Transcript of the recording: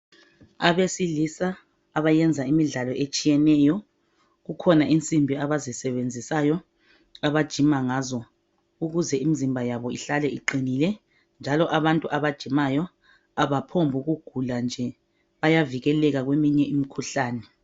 Abesilisa abayenza imidlalo etshiyeneyo, kukhona insimbi abazisebenzisayo abajima ngazo. Ukuze imzimba yabo ihlale iqinile njalo abantu abajimayo abaphombukugula nje bayavikeleka kweminye imikhuhlane.